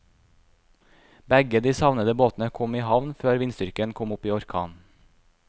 Begge de savnede båtene kom i havn før vindstyrken kom opp i orkan.